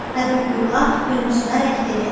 Əbül-Üla gülümsünərək dedi: